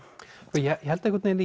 ég held einhvern vegin